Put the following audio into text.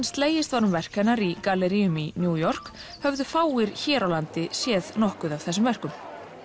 slegist um verk hennar í galleríum í New York höfðu fáir hér á landi séð nokkuð af þessum verkum